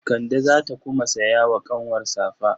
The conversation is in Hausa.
Kande za ta kuma saya wa ƙanwar safa.